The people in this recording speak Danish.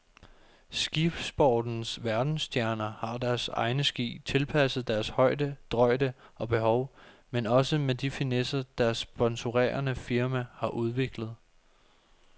Skisportens verdensstjerner har deres egne ski, tilpasset deres højde, drøjde og behov, men også med de finesser, deres sponsorerende firma har udviklet.